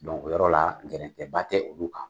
o yɔrɔ la gɛrɛntɛba tɛ olu kan.